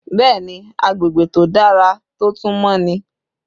Bẹ́ẹ̀ni agbègbè tó dára tó tún mọ́ ni.